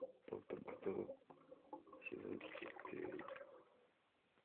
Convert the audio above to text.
доктор кто сезон четыре